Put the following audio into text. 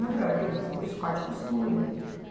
Eu falei, eu queria fazer o curso de corte e costura.